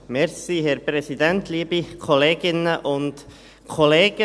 Kommissionssprecher der JuKo.